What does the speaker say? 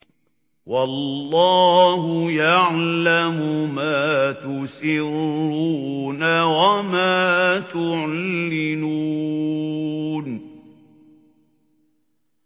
وَاللَّهُ يَعْلَمُ مَا تُسِرُّونَ وَمَا تُعْلِنُونَ